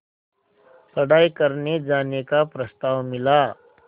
पढ़ाई करने जाने का प्रस्ताव मिला